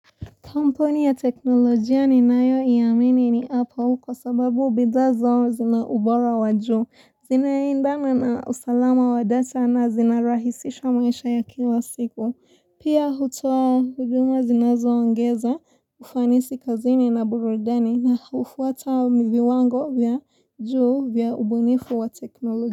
Kampuni ya teknolojia ninayo iamini ni apple kwa sababu bidha zao zina ubora wa juu. Zina endana na usalama wa data na zinarahisisha maisha ya kila siku. Pia hutuo huduma zinazo ongeza ufanisi kazini na burudani na hufuata viwango vya juu vya ubunifu wa teknolojia.